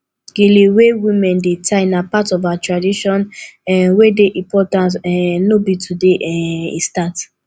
gele wey women dey tie na part of our tradition um wey dey important um no be today um e start